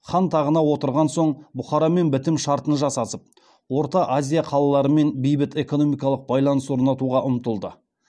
хан тағына отырған соң бұхарамен бітім шартын жасасып орта азия қалаларымен бейбіт экономикалық байланыс орнатуға ұмтылды